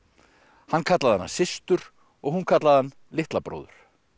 hann kallaði hana systur og hún kallaði hann litla bróður